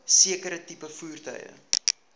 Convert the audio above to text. sekere tipe voertuie